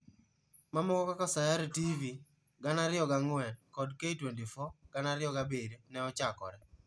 Mamoko kaka Sayare TV(2004) kod K24(2007) ne ochakore.